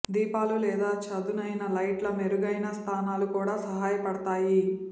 దీపాలు లేదా చదునైన లైట్ల మెరుగైన స్థానాలు కూడా సహాయపడతాయి